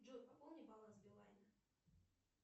джой пополни баланс билайна